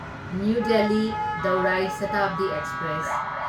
new Delhi ꯗꯧꯔꯥꯢ ꯁꯥꯇꯥꯕꯗꯤ express